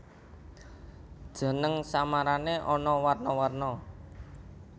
Jeneng samarané ana warna warna